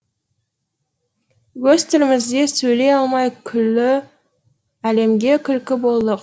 өз тілімізде сөйлей алмай күллі әлемге күлкі болдық